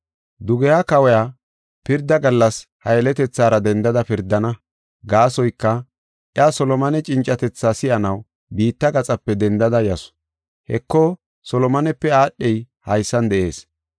Dugeha kawiya pirda gallas ha yeletethaara dendada pirdana. Gaasoyka, iya Solomone cincatethaa si7anaw biitta gaxape dendada yasu. Heko Solomonepe aadhey haysan de7ees